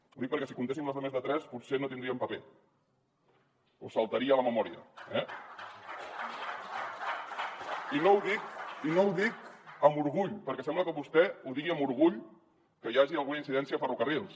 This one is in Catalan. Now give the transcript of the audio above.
ho dic perquè si comptéssim les de més tres potser no tindríem paper o saltaria la memòria eh i no ho dic amb orgull perquè sembla que vostè ho digui amb orgull que hi hagi alguna incidència a ferrocarrils